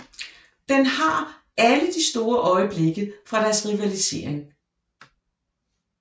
Den har alle de store øjeblikke fra deres rivalisering